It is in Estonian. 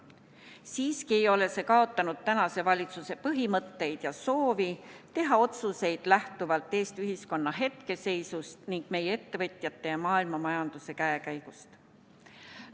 Siiski ei ole see kaotanud tänase valitsuse põhimõtteid ja soovi teha otsuseid lähtuvalt Eesti ühiskonna hetkeseisust ning meie ettevõtjate ja maailmamajanduse käekäigust.